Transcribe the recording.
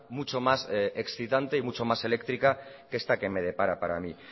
mucho más excitante y mucho más eléctrica que esta que me depara para mí